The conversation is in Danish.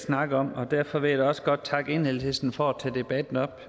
snakke om og derfor vil jeg da også godt takke enhedslisten for at tage debatten op